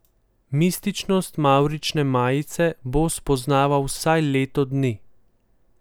Mističnost mavrične majice bo spoznaval vsaj leto dni.